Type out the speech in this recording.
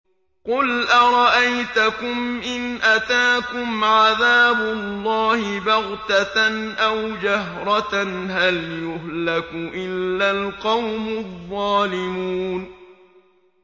قُلْ أَرَأَيْتَكُمْ إِنْ أَتَاكُمْ عَذَابُ اللَّهِ بَغْتَةً أَوْ جَهْرَةً هَلْ يُهْلَكُ إِلَّا الْقَوْمُ الظَّالِمُونَ